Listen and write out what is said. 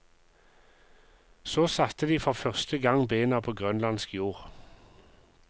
Så satte de for første gang bena på grønlandsk jord.